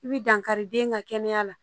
I bi dankari den ka kɛnɛya la